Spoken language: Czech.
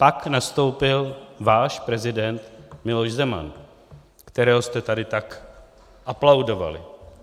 Pak nastoupil váš prezident Miloš Zeman, kterého jste tady tak aplaudovali.